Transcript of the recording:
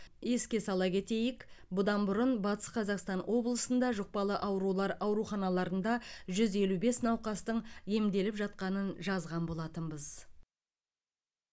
еске сала кетейік бұдан бұрын батыс қазақстан облысында жұқпалы аурулар ауруханаларында жүз елу бес науқастың емделіп жатқанын жазған болатынбыз